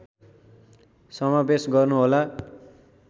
समावेश गर्नु होला